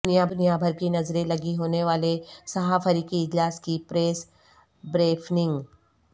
دنیا بھر کی نظریں لگی ہونے والے سہہ فریقی اجلاس کی پریس بریفنگ